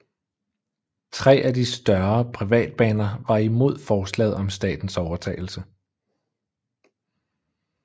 Tre af de større privatbaner var imod forslaget om statens overtagelse